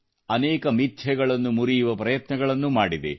ಅನೇಕ ಮಿಥ್ಯೆಗಳನ್ನು ಮುರಿಯುವ ಪ್ರಯತ್ನಗಳನ್ನು ಮಾಡಿದೆ